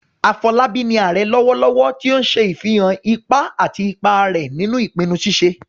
Afolabi ni "Ààrẹ " lọwọlọwọ, ti o n ṣe afihan ipa àti ipa rẹ̀ nínú ìpinnu ṣíṣe